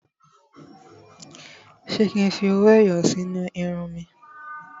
Ṣé kí n fi owó ẹyọ sí inú irun mi?